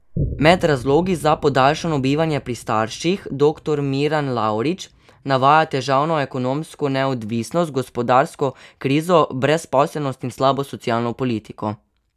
Med razlogi za podaljšano bivanje pri starših doktor Miran Lavrič navaja težavno ekonomsko neodvisnost, gospodarsko krizo, brezposelnost in slabo socialno politiko.